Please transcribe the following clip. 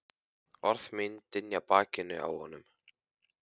Orð mín dynja á bakinu á honum.